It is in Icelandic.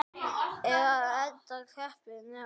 Nú loksins hef ég tíma.